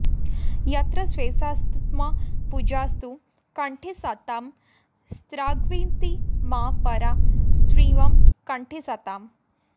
यत्र सैषाऽऽत्मपूजाऽस्तु कण्ठे सतां स्रग्विणी मा परा स्त्रीव कण्ठे सताम्